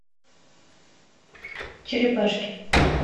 черепашки